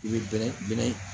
I bɛ bɛrɛ bɛrɛ in